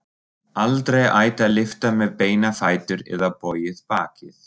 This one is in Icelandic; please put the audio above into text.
Aldrei ætti að lyfta með beina fætur eða bogið bakið.